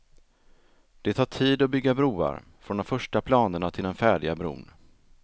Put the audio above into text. Det tar tid att bygga broar, från de första planerna till den färdiga bron.